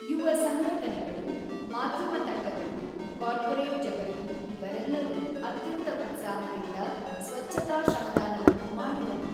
ಯುವ ಸಂಘಟನೆಗಳು, ಮಾಧ್ಯಮ ತಂಡಗಳು, ಕಾರ್ಪೊರೇಟ್ ಜಗತ್ತು ಇವರೆಲ್ಲರೂ ಅತ್ಯಂತ ಉತ್ಸಾಹದಿಂದ ಸ್ವಚ್ಛತಾ ಶ್ರಮದಾನವನ್ನು ಮಾಡಿದರು.